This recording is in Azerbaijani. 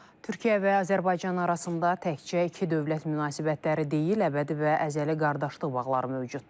Türkiyə və Azərbaycan arasında təkcə iki dövlət münasibətləri deyil, əbədi və əzəli qardaşlıq bağları mövcuddur.